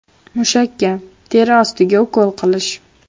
Mushakka, teri ostiga ukol qilish.